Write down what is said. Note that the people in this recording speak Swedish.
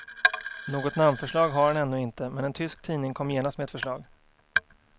Något namnförslag har han ännu inte, men en tysk tidning kom genast med ett förslag.